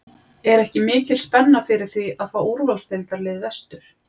Er ekki mikil spenna fyrir því að fá úrvalsdeildarlið vestur?